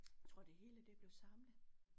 Tror det hele det blev samlet